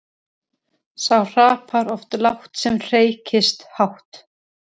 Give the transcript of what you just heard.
Sá hrapar oft lágt sem hreykist hátt.